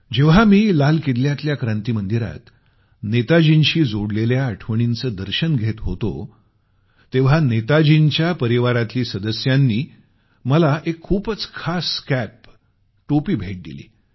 जेव्हा मी लाल किल्ल्यातल्या क्रांती मंदिरात नेताजींशी जोडलेल्या आठवणींचं दर्शन घेत होतो तेव्हा नेताजींच्या परिवारातील सदस्यांनी मला एक खूपच खास कॅप टोपी भेट दिली